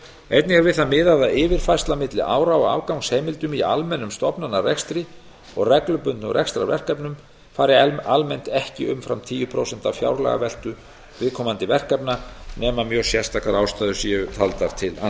einnig er við það miðað að yfirfærsla milli ára á afgangsheimildum í almennum stofnanarekstri og reglubundnum rekstrarverkefnum fari almennt ekki umfram tíu prósent af fjárlagaveltu viðkomandi verkefna nema mjög sérstakar ástæður séu taldar til